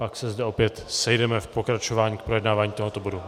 Pak se zde opět sejdeme k pokračování v projednávání tohoto bodu.